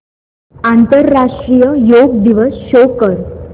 आंतरराष्ट्रीय योग दिवस शो कर